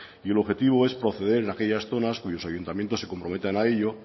y el objetivo es conceder en aquellas zonas cuyos ayuntamientos se comprometan a ello